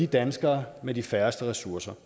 danskere med de færreste ressourcer